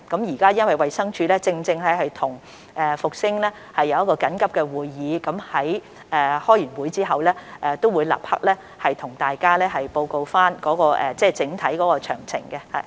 由於衞生署現時正在與復星實業進行緊急會議，他們在會議後會立即向大家報告整體詳情。